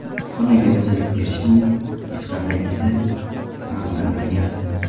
Xonaga buzib kirishning hech qanday izi aniqlanmagan.